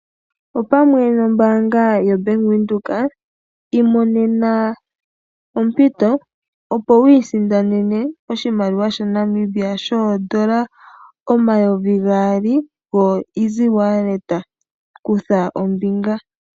Opamwe nombaanga yoBank Windhoek imonena ompito opo wu isindanene oshimaliwa shono shaNamibia shodoola omayovi gaali goEasy wallet, kutha ombinga.